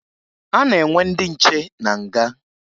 A na-enwe ndị nche na nga